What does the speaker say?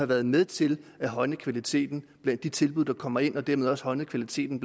været med til at højne kvaliteten blandt de tilbud der kommer ind og dermed også højne kvaliteten